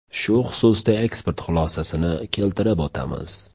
Shu xususda ekspert xulosasini keltirib o‘tamiz.